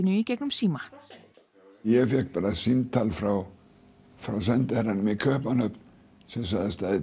í gegnum síma ég fékk bara símtal frá sendiherranum í Kaupmannahöfn sem sagðist